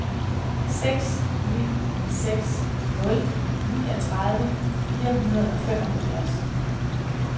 seks ni seks nul niogtredive fire hundrede og femoghalvfems